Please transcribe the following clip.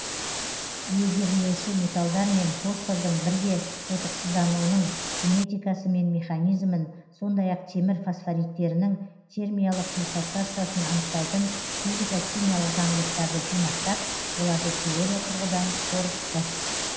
легирлеуші металдар мен фосфордың бірге тотықсыздануының кинетикасы мен механизмін сондай ақ темір фосфориттерінің термиялық диссоциациясын анықтайтын физика химиялық заңдылықтарды жинақтап оларды теория тұрғыдан қорытты